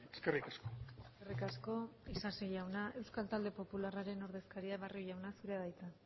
eskerrik asko eskerrik asko isasi jauna eusko talde popularraren ordezkaria barrio jauna zurea da hitza